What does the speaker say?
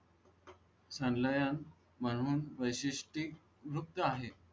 चाललेल्या म्हणून वैशिष्टय़ मुक्त आहे.